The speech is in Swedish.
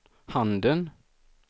handen